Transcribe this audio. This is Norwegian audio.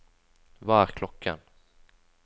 hva er klokken